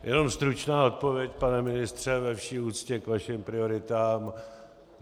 Jenom stručná odpověď, pane ministře, ve vší úctě k vašim prioritám.